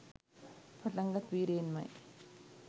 පටන්ගත් වීර්යයෙන්ම යි.